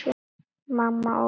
Mamma og